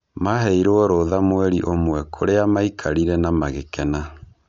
Maheirwo rũtha mweri ũmwe kũrĩa maikarire na magĩkena.